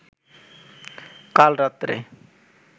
কাল রাত্রে